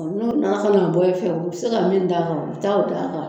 N'o nana ka na bɔ fɛ u bɛ se ka min d'a kan u bɛ taa o d'a kan